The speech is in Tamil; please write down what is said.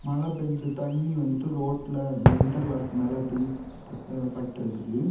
மழை பேஞ்சு தண்ணி வந்துட்டு ரோட்ல அந்த இன்டர்லாக் மேல அப்படி பட்டிருக்குது.